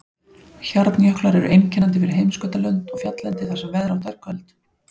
Hjarnjöklar eru einkennandi fyrir heimskautalönd og fjalllendi þar sem veðrátta er köld.